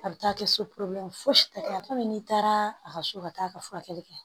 A bɛ taa kɛ so porobilɛmu fosi tɛ komi n'i taara a ka so ka taa a ka furakɛli kɛ